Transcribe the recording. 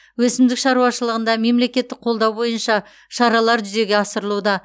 өсімдік шаруашылығында мемлекеттік қолдау бойынша шаралар жүзеге асырылуда